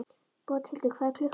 Bóthildur, hvað er klukkan?